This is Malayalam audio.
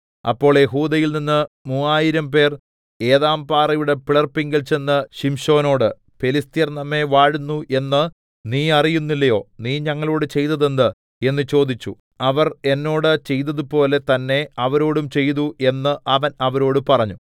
അപ്പോൾ യെഹൂദയിൽനിന്ന് മൂവായിരംപേർ ഏതാംപാറയുടെ പിളർപ്പിങ്കൽ ചെന്ന് ശിംശോനോട് ഫെലിസ്ത്യർ നമ്മെ വാഴുന്നു എന്നു നീ അറിയുന്നില്ലയോ നീ ഞങ്ങളോട് ചെയ്തത് എന്ത് എന്ന് ചോദിച്ചു അവർ എന്നോട് ചെയ്തതുപോലെ തന്നെ അവരോടും ചെയ്തു എന്ന് അവൻ അവരോട് പറഞ്ഞു